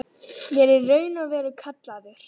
Ég er í raun og veru kallaður.